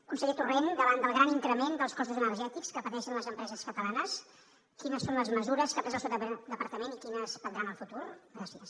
conseller torrent davant del gran increment dels costos energètics que pateixen les empreses catalanes quines són les mesures que ha pres el seu departament i quines prendrà en el futur gràcies